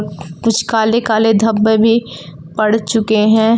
कुछ काले काले धब्बे भी पड़ चुके हैं।